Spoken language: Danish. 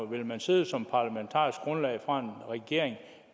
vil man sidde som parlamentarisk grundlag for en regering